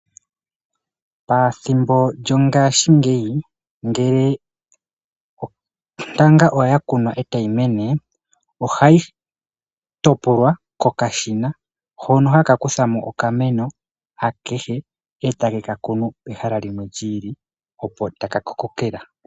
Pathimbo lyongashingeyi ngele ontanga oya kunwa e ta yi mene oha yi topolwa kokashina, hono haka kutha mo okameno akehe, e take ka kunu pehala limwe li ili, opo taka ka kokela.